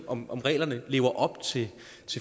om reglerne lever op til